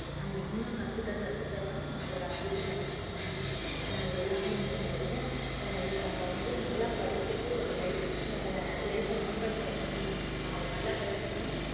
நம்ம இன்னும் கத்துக்க கத்துக்க தான் நம்மளோட அறிவு வளர்ச்சி அஹ் எல்லாமே மேம்படும் அஹ் இப்ப நம்ம வந்து நல்லா படிச்சிட்டு ஒரு life அ life அ run பண்றதுன்னு வச்சுக்கோங்களேன் ஒரு நல்லா படிச்சோம்னா